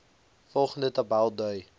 volgende tabel dui